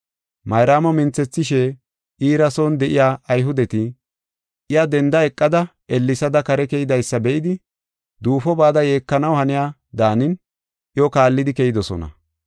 Mayraamo minthethishe iira son de7iya Ayhudeti, iya denda eqada ellesada kare keydaysa be7idi, duufo bada yeekanaw haniya daanin iyo kaallidi keyidosona.